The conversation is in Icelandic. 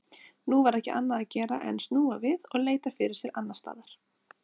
Nú var ekki annað að gera en snúa við og leita fyrir sér annarstaðar.